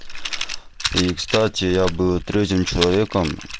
и кстати я буду третьим человеком